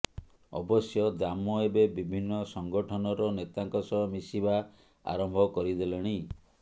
ଅବଶ୍ୟ ଦାମ ଏବେ ବିଭିନ୍ନ ସଂଗଠନର ନେତାଙ୍କ ସହ ମିଶିବା ଆରମ୍ଭ କରିଦେଲେଣି